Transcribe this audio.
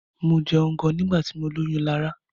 Mo jẹun gan nígbà tí mọ lóyún Lará.